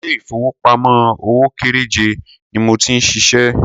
Ilé ìfowópamọ́ òwò kéréje ni mo ti ń ṣiṣẹ́.